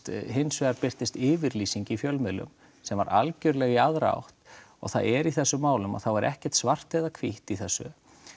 hins vegar birtist yfirlýsing í fjölmiðlum sem var algerlega í aðra átt og það er í þessu málum þá er ekkert svart eða hvítt í þessu